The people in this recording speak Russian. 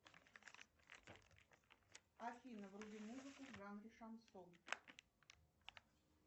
афина вруби музыку в жанре шансон